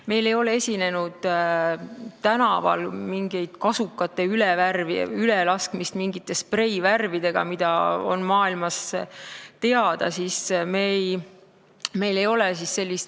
Meil ei ole olnud tänaval kasukate ülepritsimist mingite spreivärvidega, nagu maailmas on olnud.